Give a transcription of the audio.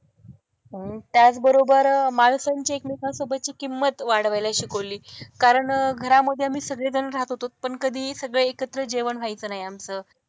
त्याचबरोबर माणसांची एकमेकांसोबतची किंमत वाढवायला शिकवली. कारण घरामध्ये आम्ही सगळीजणं राहत होतो, पण कधी सगळं एकत्र जेवण व्हायचं नाही आमचं.